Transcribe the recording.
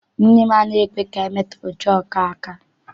Nne m anaghị ekwe ka anyị metụ ncha ọkụ aka.